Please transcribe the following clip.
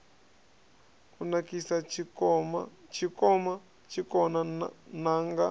i nakisa tshikona n anga